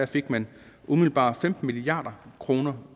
fik man umiddelbart femten milliard kroner